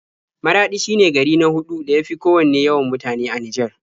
Maraɗi shine gari na huɗu da ya fi kowanne yawan mutane a Nijar.